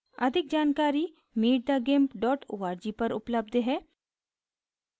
अधिक जानकारी